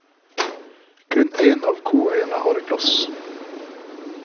Kun én av koøyene har glass.